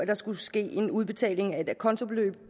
der skulle ske en udbetaling af et acontobeløb